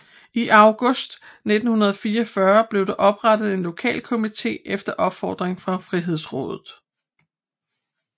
I august 1944 blev der oprettet en lokalkomite efter opfordring fra Frihedsrådet